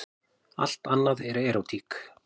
Allt annað er erótík.